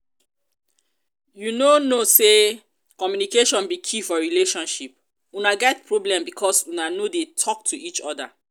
you no know say communication be key for relationship? una get problem because una no dey talk to each other